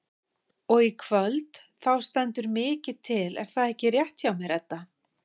Og í kvöld þá stendur mikið til er það ekki rétt hjá mér Edda?